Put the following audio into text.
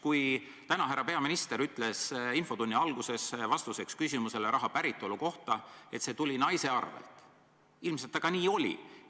Kui härra peaminister ütles tänase infotunni alguses vastuseks küsimusele raha päritolu kohta, et see tuli naise kontolt, siis ilmselt see nii ka oli.